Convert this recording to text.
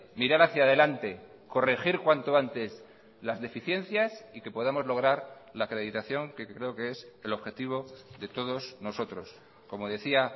mirar hacia delante corregir cuanto antes las deficiencias y que podamos lograr la acreditación que creo que es el objetivo de todos nosotros como decía